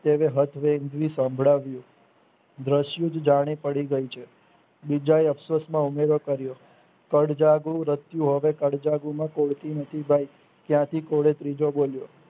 તેને હથ વેય ઈન્દ્રી સમ્ભળાવ્યુ દરસયુદ્ધ જાણે પડી જાય છે બીજાએ અસવસમાં ઉમેરો કર્યો પડજગુ રસયુ હવે પડજગુ માં તુળસી નથી ભાઈ ત્યાંથી કોઈ ત્રીજો બોલ્યો